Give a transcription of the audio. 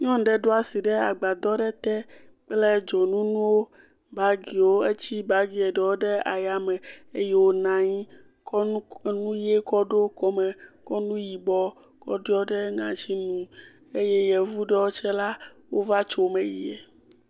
Nyɔnu ɖe ɖo asi ɖe agbadɔ aɖe te kple dzonu nuwo kple bagiwo. Etsi bagie ɖewo ɖe ayame eye wonɔ anyi kɔ nu ʋie kɔ ɖo kɔme, kɔ nu yibɔ kɔ ɖɔ ɖe ŋɔtinu eye yevu ɖewo tsɛ la, wova tso eme yi.